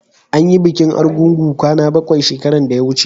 an yi bikin argungu kwana bakwai shekaran da ya wuce